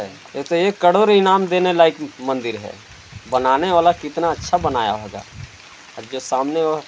ये तो एक करोड़ इनाम देने लायक मंदिर है बनाने वाला कितना अच्छा बनाया होगा। जो सामने--